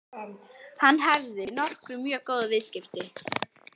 Hún hafði nokkra mjög góða viðskiptavini.